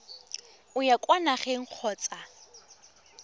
o ya kwa nageng kgotsa